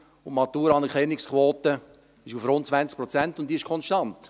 Die Maturaanerkennungsquote ist auf fast 20 Prozent gestiegen, und sie ist konstant.